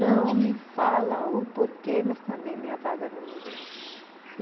Não me fala o porquê, mas também minha vaga não me deu.